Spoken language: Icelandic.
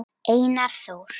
Einar Þór.